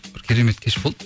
бір керемет кеш болды